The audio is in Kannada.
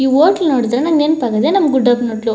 ಈ ಹೋಟೆಲ್ ನೋಡಿದ್ರೆ ನನಗೆ ನೆನಪಾಗೋದೇ ನಮ್ಮ ಗುಡ್ಡದ ಹೋಟೆಲ್ .